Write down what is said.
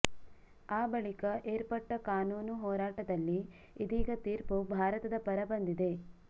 ಆ ಬಳಿಕ ಏರ್ಪಟ್ಟಕಾನೂನು ಹೋರಾಟದಲ್ಲಿ ಇದೀಗ ತೀರ್ಪು ಭಾರತದ ಪರ ಬಂದಿದೆ